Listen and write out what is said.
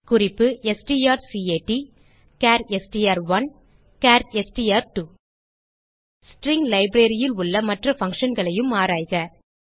குறிப்பு strcatசார் STR one char STR two string libraryல் உள்ள மற்ற functionகளையும் ஆராய்க